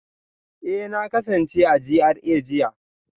Eh na kasance a GRA jiya